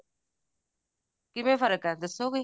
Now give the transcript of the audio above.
ਕਿਵੇਂ ਫਰਕ ਐ ਦੱਸੋਗੇ